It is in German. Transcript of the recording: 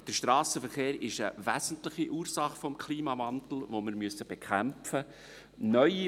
Der Strassenverkehr ist eine wesentliche Ursache des Klimawandels, den wir bekämpfen müssen.